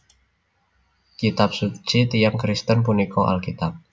Kitab suci tiyang Kristen punika Alkitab